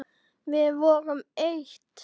Við vorum eitt.